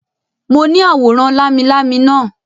Mo ní àwòrán lámilámi naa